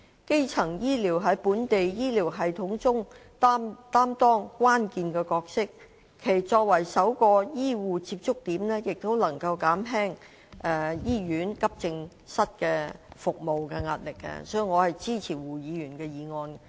基層醫療在本地醫療系統中擔當關鍵的角色，其作為首個醫護接觸點亦能減輕醫院急症室服務的壓力，所以，我支持胡議員的議案。